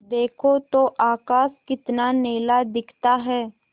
देखो तो आकाश कितना नीला दिखता है